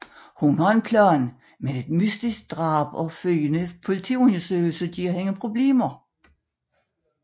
Hun har en plan men et mystisk drab og følgende politiundersøgelse giver hende problemer